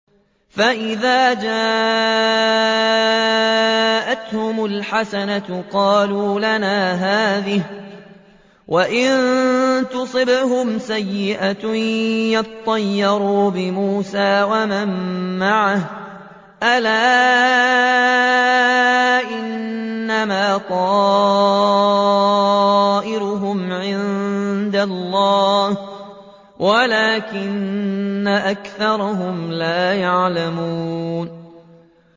فَإِذَا جَاءَتْهُمُ الْحَسَنَةُ قَالُوا لَنَا هَٰذِهِ ۖ وَإِن تُصِبْهُمْ سَيِّئَةٌ يَطَّيَّرُوا بِمُوسَىٰ وَمَن مَّعَهُ ۗ أَلَا إِنَّمَا طَائِرُهُمْ عِندَ اللَّهِ وَلَٰكِنَّ أَكْثَرَهُمْ لَا يَعْلَمُونَ